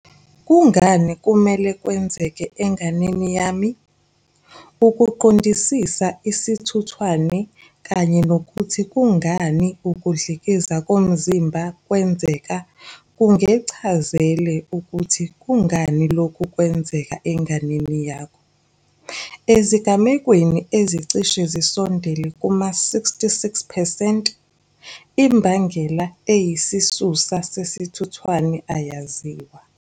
Kungani kumele kwenzeke enganeni yami? Ukuqondisisa isithuthwane kanye nokuthi kungani ukudlikiza komzimba kwenzeka kungekuchazele ukuthi kungani lokhu kwenzeka enganeni yakho. Ezigamekweni ezicishe zisondele kuma-66 percent, imbangela eyisisusa sesithuthwane ayaziwa.